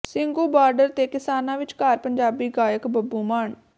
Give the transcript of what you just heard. Singhu border ਤੇ ਕਿਸਾਨਾਂ ਵਿਚਕਾਰ ਪੰਜਾਬੀ ਗਾਇਕ ਬੱਬੂ ਮਾਨ